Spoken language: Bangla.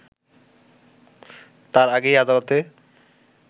তার আগেই আদালতে